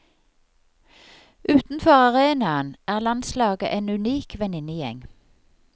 Utenfor arenaen er landslaget en unik venninnegjeng.